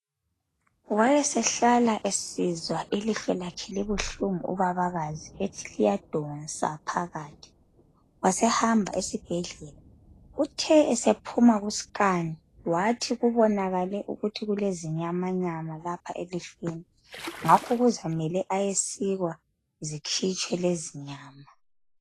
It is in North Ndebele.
Wayesehlala esizwa ilihlo lakhe libuhlungu ubabakazi ethi liyadonsa phakathi, wasehamba esibhedlela. Uthe esephuma kusikhani ,wathi kubonakale ukuthi ulezinyama nyama lapha elihlweni ngakho uzamele ayesikwa zikhitshwe lezi nyama.